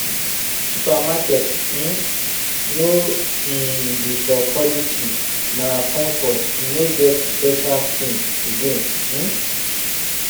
supermarket um no um be for quality na comfort e no get special thing again um